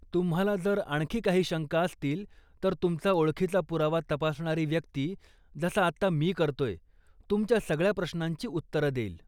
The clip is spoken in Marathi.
तुम्हाला जर आणखी काही शंका असतील, तर तुमचा ओळखीचा पुरावा तपासणारी व्यक्ती, जसं आत्ता मी करतोय, तुमच्या सगळ्या प्रश्नांची उत्तरं देईल.